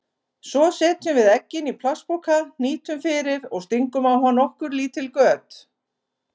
Svo setjum við eggin í plastpoka, hnýtum fyrir og stingum á hann nokkur lítil göt.